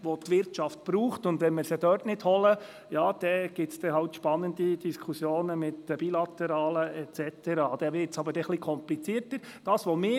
Wenn wir sie dort nicht abholen, dürfte es spannende Diskussionen im Zusammenhang mit den Bilateralen et cetera geben – was dann aber etwas komplizierter würde.